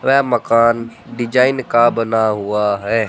वह मकान डिजाइन का बना हुआ है।